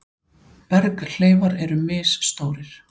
Berghleifar eru misstórir.